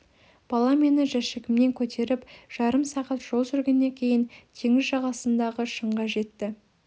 бала мені жәшігіммен көтеріп жарым сағат жол жүргеннен кейін теңіз жағасындағы шыңға жетті